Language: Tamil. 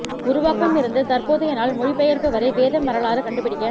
உருவாக்கம் இருந்து தற்போதைய நாள் மொழிபெயர்ப்பு வரை வேதம் வரலாறு கண்டுபிடிக்க